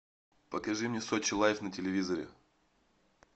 покажи мне сочи лайф на телевизоре